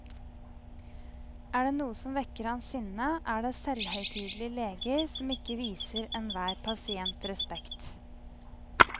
Er det noe som vekker hans sinne, er det selvhøytidelige leger som ikke viser enhver pasient respekt.